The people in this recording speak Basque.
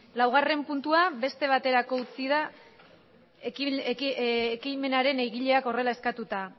laugarren puntua beste baterako utzi da ekimenaren egileak horrela eskatuta